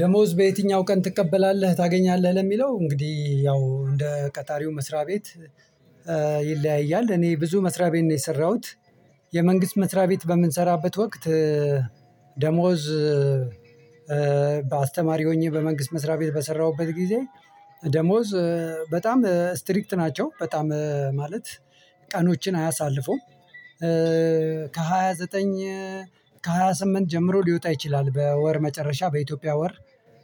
ደሞዝ በየትኛው ቀን ትቀበላለህ፣ ታገኛለህ? ለሚለው እንግዲህ ያው እንደ ቀጣሪው መስሪያ ቤት እኔ ብዙ መስሪያ ቤት ነው የሰራሁት። የመንግስት መስሪያ ቤት በምንሰራበት ወቅት፤ ደሞዝ በአስተማሪ ሆኜ በመንግስት መስሪያ ቤት በሰራሁበት ጊዜ፤ ደሞዝ በጣም ስትሪክት ናቸው። በጣም ማለት ቀኖችን አያሳልፈውም። ዘጠኝ ከሃያ ስምንት ጀምሮ ሊወጣ ይችላል። በወር መጨረሻ በኢትዮጵያ ወር።